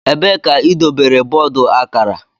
Ebee ka idobere bọọdụ akara?